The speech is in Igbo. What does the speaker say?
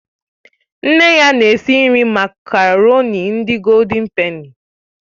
Nne ya na-esi nri makaroni ndị Goóldin pèni